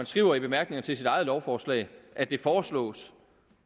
skriver i bemærkningerne til sit eget lovforslag at det foreslås